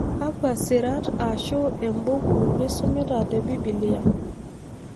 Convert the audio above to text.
Kakwa sirat ashu embuku nisumita te Biblia